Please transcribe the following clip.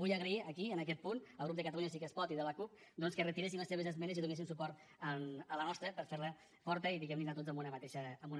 vull agrair aquí en aquest punt als grups de catalunya sí que es pot i de la cup doncs que retiressin les seves esmenes i donessin suport a la nostra per fer la forta i diguem ne anar tots en una